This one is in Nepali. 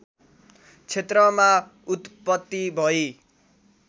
क्षेत्रमा उत्त्पति भई